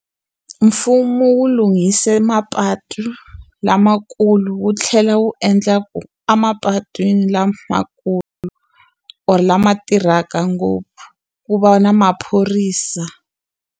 Mfumo wu lunghise mapatu lamakulu wu tlhela wu endla ku, emapatwini lamakulu or lama tirhaka ngopfu ku va na maphorisa.